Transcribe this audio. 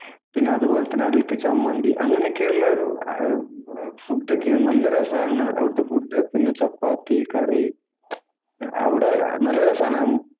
പിന്നെ അതുപോലെ അതിലേക്ക് ചമ്മന്തി അങ്ങനെയൊക്കെയുള്ള ഒരു ഫുഡ് ഒക്കെയാ. നല്ല രസാണ് അവിടത്തെ ഫുഡ് പിന്നെ ചപ്പാത്തി, കറി. അവിടെ നല്ല രസാണ്.